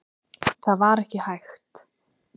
Það var ekki hægt.